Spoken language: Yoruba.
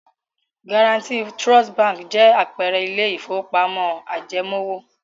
Guaranty Trust Báńkì jẹ́ àpẹẹrẹ ilé-ìfowópamọ́sí ajẹmoówò.